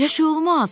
Elə şey olmaz.